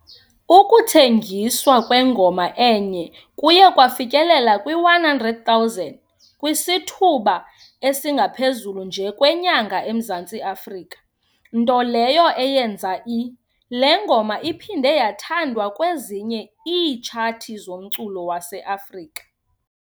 Ukuthengiswa kwengoma enye kuye kwafikelela kwi-100,000 kwisithuba esingaphezulu nje kwenyanga eMzantsi Afrika, nto leyo eyenza i- Le ngoma iphinde yathandwa kwezinye iitshathi zomculo waseAfrika.